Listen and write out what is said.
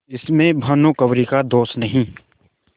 इसमें भानुकुँवरि का दोष नहीं